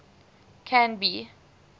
canby